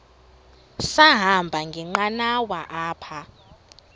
sahamba ngenqanawa apha